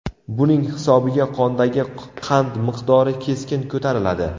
Buning hisobiga qondagi qand miqdori keskin ko‘tariladi.